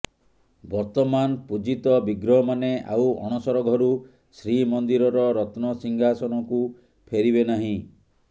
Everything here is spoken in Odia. ବର୍ତ୍ତମାନ ପୂଜିତ ବିଗ୍ରହମାନେ ଆଉ ଅଣସର ଘରୁ ଶ୍ରୀମନ୍ଦିରର ରତ୍ନସିଂହାସନକୁ ଫେରିବେ ନାହିଁ